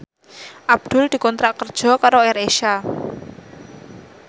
Abdul dikontrak kerja karo AirAsia